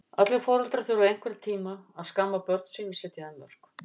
Allir foreldrar þurfa einhvern tíma að skamma börn sín og setja þeim mörk.